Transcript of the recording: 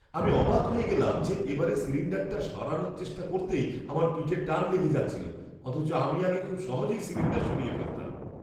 আমি অবাক হয়ে গেলাম যে এবারে সিলিণ্ডারটা সরানোর চেষ্টা করতেই আমার পিঠে টান লেগে যাচ্ছিল, অথচ আমি আগে খুব সহজেই সিলিণ্ডার সরিয়ে ফেলতাম!